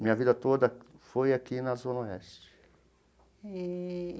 Minha vida toda foi aqui na Zona Oeste. Eee.